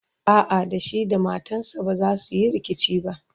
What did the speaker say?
a'a da shi da matansa bazasu Yi rikici ba